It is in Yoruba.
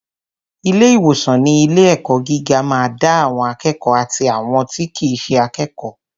Ilé ìwòsan ilé ẹ̀kọ́ gíga ma da àwọn akékòó àti àwọn tí kìí ṣe akékòó.